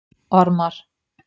Ormar